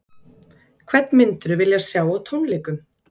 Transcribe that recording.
Hvern myndirðu vilja sjá á tónleikum?